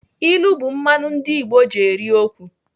Ilu bụ mmanụ ndị Igbo ji eri okwu.